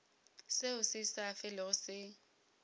seo se sa felego se